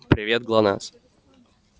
привет глонассс